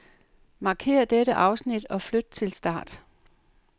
Markér dette afsnit og flyt til start.